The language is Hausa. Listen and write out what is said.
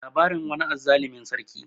labarin wani azzalumin sarki